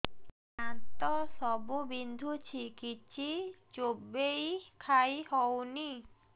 ଦାନ୍ତ ସବୁ ବିନ୍ଧୁଛି କିଛି ଚୋବେଇ ଖାଇ ହଉନି